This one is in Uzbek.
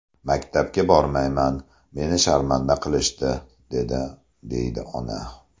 Maktabga bormayman, meni sharmanda qilishdi’, dedi”, deydi ona.